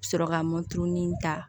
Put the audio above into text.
Sɔrɔ ka mɔturuni ta